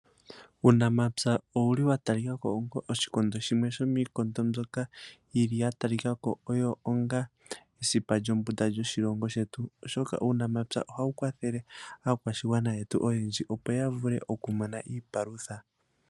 Uunamapywa owuli watalikako ongo oshikondo shimwe, shomiikondo mbyoka yili yatalikako oyo onga esipa lyombunda lyoshilongo shetu. Oshoka uunamapywa ohawukwathele aakwashigwana yetu oyendji opo yavule okumona iipalutha.